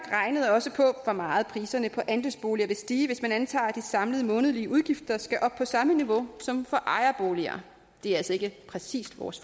også på hvor meget priserne på andelsboliger vil stige hvis man antager at de samlede månedlige udgifter skal op på samme niveau som for ejerboliger det er altså ikke præcis vores